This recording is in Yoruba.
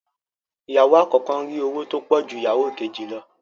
Ìyàwó àkọ́kọ́ ń rí owó tó pọ̀ ju ìyàwó kejì lọ